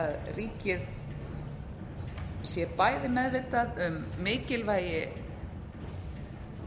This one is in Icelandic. að ríkið sé bæði meðvitað um mikilvægi